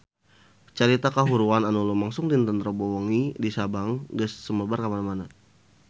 Carita kahuruan anu lumangsung dinten Rebo wengi di Sabang geus sumebar kamana-mana